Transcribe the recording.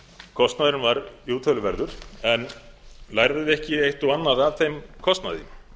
kostnaðurinn var jú töluverður en lærðum við ekki eitt og annað af þeim kostnaði